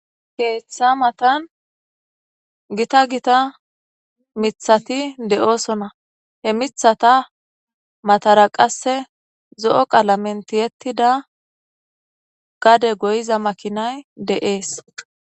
Ketha matani gitta gitta mithati do'sona he mithata matara qase zo'o qalamen ti'etida gade goyiza makinay dees